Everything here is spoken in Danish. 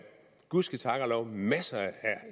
gud ske tak og lov en masse